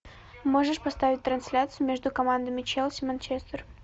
можешь поставить трансляцию между командами челси манчестер